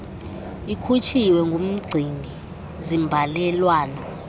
likhutshiwe ngumgcini zimbalelwano